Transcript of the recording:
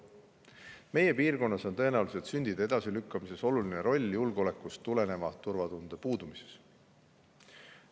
Meie piirkonnas on tõenäoliselt sündide edasilükkamise puhul oluline roll julgeoleku tuleneval turvatunde puudumisel.